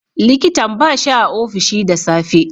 likitan bashi a ofishi da safe.